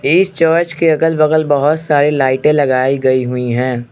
इस चर्च के अगल बगल बहुत सारे लाइटें लगाई गई हुई हैं।